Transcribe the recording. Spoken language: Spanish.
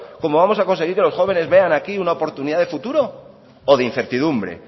como vamos a conseguir que los jóvenes vean aquí una oportunidad de futuro o de incertidumbre